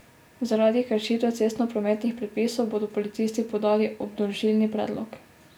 Zaradi kršitve cestnoprometnih predpisov bodo policisti podali obdolžilni predlog.